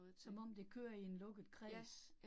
Som om det kører i en lukket kreds